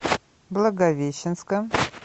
благовещенска